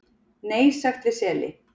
Nei sagt við seli